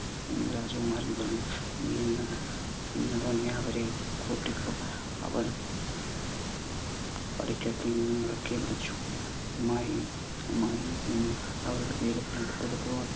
എന്ന് രാജകുമാരൻ പറഞ്ഞു. നീ ഇന്ന് ഇന്ന് തന്നെ അവരെ കൂട്ടിക്കോ. അവൾ പടിക്കെട്ടിൽ നിന്ന് ഉറക്കെ വിളിച്ചു, അമ്മായി അമ്മായി എന്ന് അവരുടെ പേര്